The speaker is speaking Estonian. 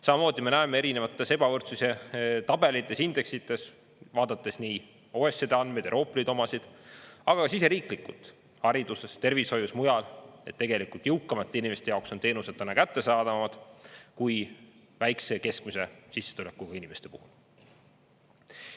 Samamoodi me näeme erinevates ebavõrdsuse tabelites, indeksites, vaadates nii OECD andmeid, Euroopa Liidu omasid, aga siseriiklikult – hariduses, tervishoius, mujal –, et tegelikult jõukamate inimeste jaoks on teenused talle kättesaadavamad kui väikese ja keskmise sissetulekuga inimeste puhul.